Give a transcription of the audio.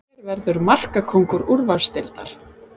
Hver verður markakóngur úrvalsdeildar?